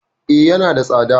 E, yana da tsada.